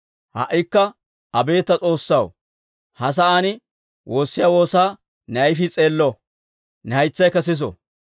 «Ha"ikka abeet ta S'oossaw, ha sa'aan woossiyaa woosaa ne ayfii s'eello; ne haytsaykka siso.